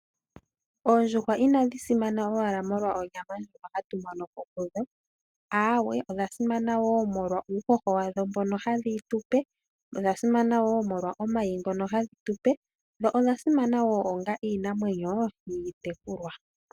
Oondjuhwa inadhi simana owala molwa onyama ndjono hatu mono ko kudho, aawe odha simana wo molwa uuhoho wadho mbono hadhi tupe, odha simana wo molwa omayi ngono hadhi tupe dho odha simana wo onga iinamwenyo iitekulwa.